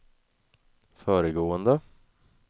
föregående